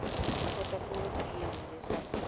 swi vonisa ku yini leswaku